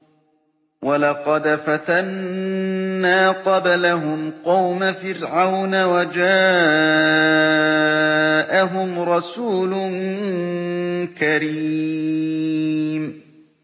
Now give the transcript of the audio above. ۞ وَلَقَدْ فَتَنَّا قَبْلَهُمْ قَوْمَ فِرْعَوْنَ وَجَاءَهُمْ رَسُولٌ كَرِيمٌ